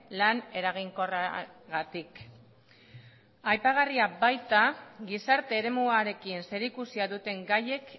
lan eraginkorragatik aipagarria baita gizarte eremuarekin zerikusia duten gaiek